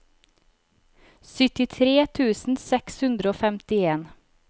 syttitre tusen seks hundre og femtien